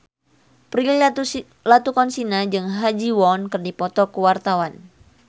Prilly Latuconsina jeung Ha Ji Won keur dipoto ku wartawan